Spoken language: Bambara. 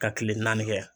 Ka kile naani kɛ